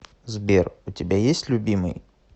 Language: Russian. сбер у тебя есть любимый